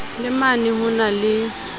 le mane ho na le